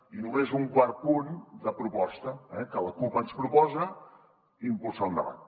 i només un quart punt de proposta eh en què la cup ens proposa impulsar un debat